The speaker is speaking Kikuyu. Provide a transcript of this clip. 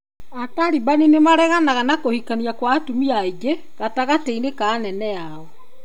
Atalibani nĩ mareganaga na kũhikania kwa atumia aingĩ gatagatĩ-inĩ ka anene ao.